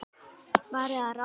Varð að ráði að